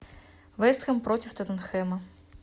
вест хэм против тоттенхэма